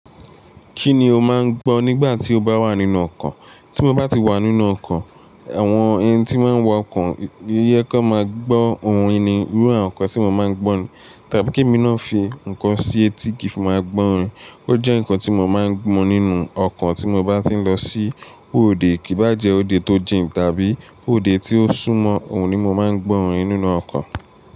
Kí ni o máa ń gbọ́ nígbà tí o bá wà nínú ọkọ̀? Tí mo bá ti wà nínú ọkọ̀, àwọn ẹni tí wọ́n ń wa ọkọ̀, ìyẹ́ k'ọ́n máa gbọ́ ohùn ẹní, irú àwọn nǹkan tí mo máa ń gbọ́ ni. Tàbí k'émi náà fi nǹkan sí etí kí n fi máa gbọ́ orin. Ó jẹ́ nǹkan tí mo máa ń mú nínú ọkọ̀ tí mo bá ti ń lọ sí òde, kì í bá jẹ́ òde tó jìn tàbí òde tí ó súnmọ́, òun ni mo máa ń gbọ́ orin nínú ọkọ̀.